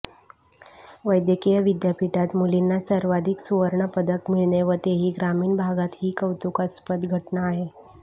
वैद्यकीय विद्यापीठात मुलींना सर्वाधिक सुवर्ण पदक मिळणे व तेही ग्रामीण भागात हि कौतुकास्पद घटना आहे